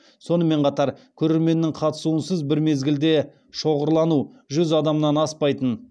сонымен қатар көрерменнің қатысуынсыз бір мезгілде шоғырлану жүз адамнан аспайтын